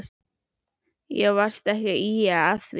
Já varstu ekki að ýja að því.